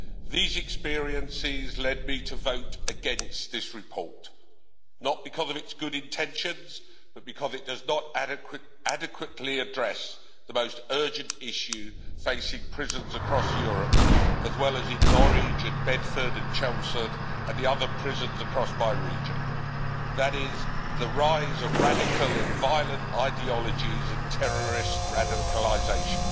These experiences have led me to vote against this report, not because of its good intentions, but because it does not adequately address the most urgent issue facing prisons across Europe, as well as in Norwich, Bedford, Chelmsford and in the other prisons across my region that is the rise of radical and violent ideologies and terrorist radicalisation.